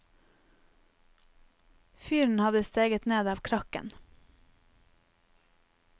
Fyren hadde steget ned av krakken.